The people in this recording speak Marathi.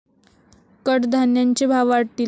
कडधान्यांचे भाव वाढतील.